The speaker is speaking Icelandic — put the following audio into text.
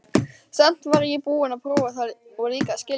Samt var ég búin að prófa það og líka skilja.